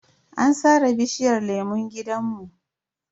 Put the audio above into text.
An sare bishiyar lemun gidanmu.